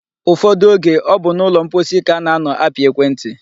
Ụfọdụ oge, ọ bụ n'ụlọ mposi ka a na-anọ apị ekwentị.